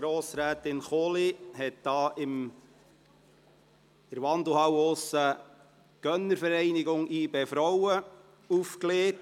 Grossrätin Kohli hat in der Wandelhalle Informationen zur Gönnervereinigung für das Frauenteam des BSC Young Boys (Gönnervereinigung YB-Frauen) aufgelegt.